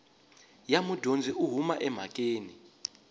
ya mudyondzi u huma emhakeni